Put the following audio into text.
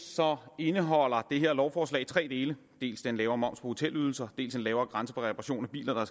indeholder det her lovforslag tre dele dels en lavere moms på hotelydelser dels en lavere grænse for reparation af biler der